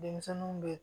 Denmisɛnninw bɛ